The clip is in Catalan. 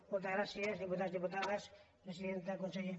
moltes gràcies diputats diputades presidenta conse·ller